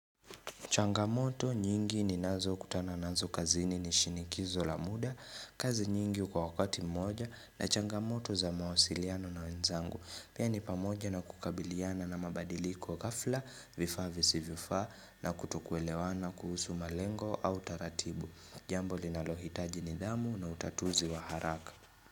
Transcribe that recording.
Changamoto nyingi ninazo kutana nazo kazini ni shinikizo la muda. Kazi nyingi kwa wakati moja na changamoto za mawasiliano na wenzangu. Pia ni pamoja na kukabiliana na mabadiliko ghafla vifaa visivyofaa nakutokuelewana kuhusu malengo au taratibu. Jambo linalohitaji nidhamu na utatuzi wa haraka.